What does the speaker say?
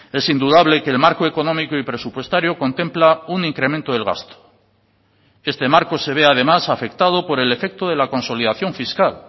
es indudable que el marco económico y presupuestario contempla un incremento del gasto este marco se ve además afectado por el efecto de la consolidación fiscal